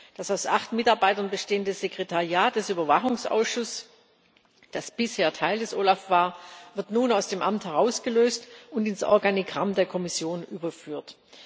Das aus acht Mitarbeitern bestehende Sekretariat des Überwachungsausschusses, das bisher Teil des OLAF war, wird nun aus dem Amt herausgelöst und ins Organigramm der Kommission überführt.